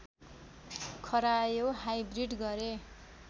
खरायो हाइब्रिड गरे